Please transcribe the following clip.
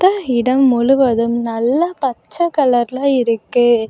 இந்த இடம் முழுவதும் நல்ல பச்சை கலர்ல இருக்கு.